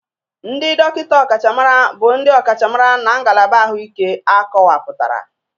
Ndị dọkịta ọkachamara bụ ndị ọkachamara na ngalaba ahụike akọwapụtara.